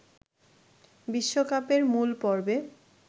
বিশ্বকাপের মূল পর্বে